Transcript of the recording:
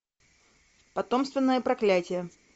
потомственное проклятье